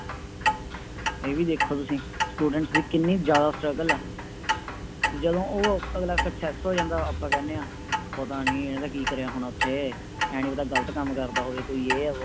ਇਹ ਵੀ ਦੇਖੋ ਤੁਸੀਂ Students ਦੀ ਕਿੰਨੀ ਜ਼ਿਆਦਾ Struggle ਆ ਤੇ ਜਦੋ ਉਹ ਅਗਲਾ Success ਹੋ ਜਾਂਦਾ ਆਪਾਂ ਕਹਿਣੇ ਆਪਤਾ ਨੀ ਏਹੋਜਾ ਕਰਿਆ ਹੋਣਾ ਓਥੇ ਏ ਨੀ ਪਤਾ ਗ਼ਲਤ ਕੰਮ ਕਰਦਾ ਹੋਵੇ ਇਹ